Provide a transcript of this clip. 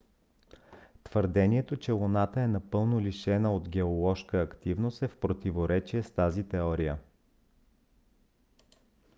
твърдението че луната е напълно лишена от геоложка активност е в противоречие с тази теория